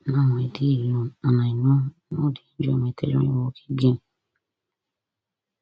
now i dey alone and i no no dey enjoy my tailoring work again